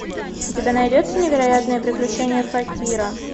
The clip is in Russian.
у тебя найдется невероятные приключения факира